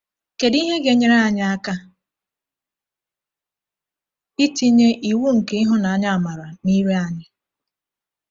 Kedu ihe ga-enyere anyị anyị aka itinye “iwu nke ịhụnanya-amara” n’ire anyị?